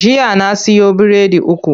Jiya na siyo biredi uku.